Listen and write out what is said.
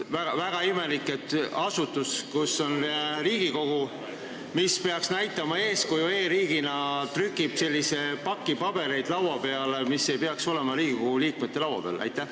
Väga imelik, et Riigikogus, mis peaks e-riigina eeskuju näitama, pannakse laua peale selline pakk pabereid, mis ei peaks Riigikogu liikmete laua peal olema.